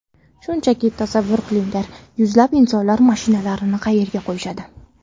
Shunchaki tasavvur qilinglar, yuzlab insonlar mashinalarini qayerga qo‘yishadi?